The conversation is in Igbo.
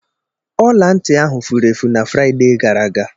ọla ntị ahụ furu efu na Fraịde gara aga.